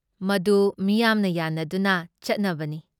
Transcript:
ꯃꯗꯨ ꯃꯤꯌꯥꯝꯅ ꯌꯥꯟꯅꯗꯨꯅ ꯆꯠꯅꯕꯅꯤ ꯫